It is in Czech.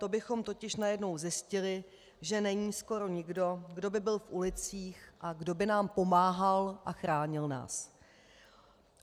To bychom totiž najednou zjistili, že není skoro nikdo, kdo by byl v ulicích a kdo by nám pomáhal a chránil nás.